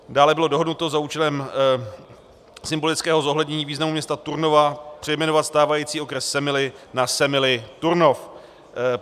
Dále bylo dohodnuto za účelem symbolického zohlednění významu města Turnova přejmenovat stávající okres Semily na Semily - Turnov.